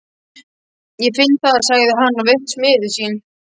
Ég finn það, sagði hann og virtist miður sín.